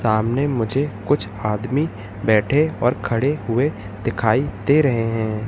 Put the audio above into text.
सामने मुझे कुछ आदमी बैठे और खड़े हुए दिखाई दे रहे हैं।